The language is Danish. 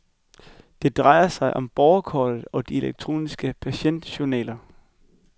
Det drejer sig om borgerkortet og de elektroniske patientjournaler.